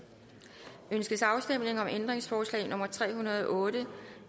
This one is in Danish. ønskes afstemning om ændringsforslag nummer tre hundrede og otte